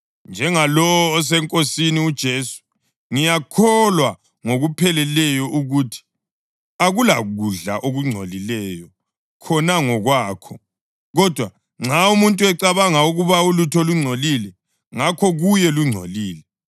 Njengalowo oseNkosini uJesu, ngiyakholwa ngokupheleleyo ukuthi akulakudla okungcolileyo khona ngokwakho. Kodwa nxa umuntu ecabanga ukuba ulutho lungcolile, ngakho kuye lungcolile.